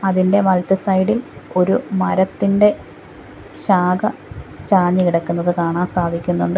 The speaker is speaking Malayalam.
ഇതിൻ്റെ വലത്തു സൈഡ് ഇൽ ഒരു മരത്തിൻ്റെ ശാഖ ചാഞ്ഞു കിടക്കുന്നത് കാണാൻ സാധിക്കുന്നുണ്ട്.